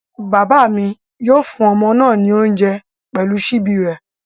Bàbá mi yóò fún ọmọ náà ní oúnjẹ pẹ̀lú ṣíbí rẹ̀